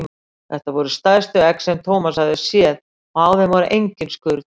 Þetta voru stærstu egg sem Thomas hafði séð og á þeim var engin skurn.